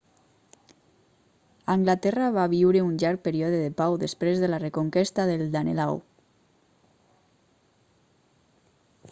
anglaterra va viure un llarg període de pau després de la reconquesta del danelaw